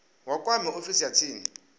vha kwame ofisi ya tsini